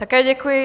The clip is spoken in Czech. Také děkuji.